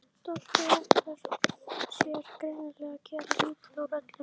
Doddi ætlar sér greinilega að gera lítið úr öllu.